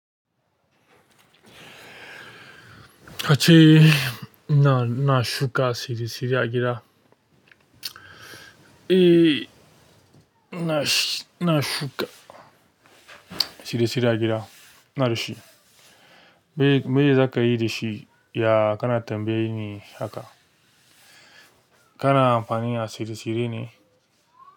Kace ina, na shuka tsire-tsire a gida? Eh, ina shi, ina shuka tsire-tsire a gida. Ina da shi. E. Me zaka yi da shi? Ya kana tambaye ni haka? Kana amfani da tsire-tsire ne?